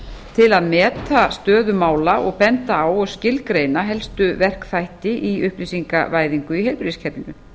til að meta stöðu mála og benda á og skilgreina helstu verkþætti í upplýsingavæðingu í heilbrigðiskerfinu